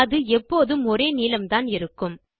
அது எப்போதும் ஒரே நீளம்தான் இருக்கும்